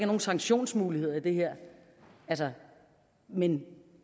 nogen sanktionsmuligheder i det her men